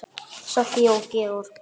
Soffía og Georg.